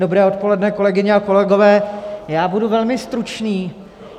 Dobré odpoledne, kolegyně a kolegové, já budu velmi stručný.